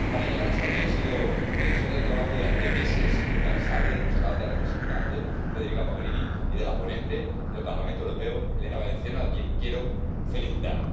Para llegar hasta aquí ha sido necesario el trabajo durante meses, incansable, de nuestra alta representante, Federica Mogherini, y de la ponente del Parlamento Europeo, Elena Valenciano, a quien quiero felicitar.